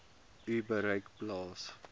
u bereik plaas